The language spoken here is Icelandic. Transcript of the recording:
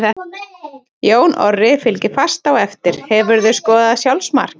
Jón Orri fylgir fast á eftir Hefurðu skorað sjálfsmark?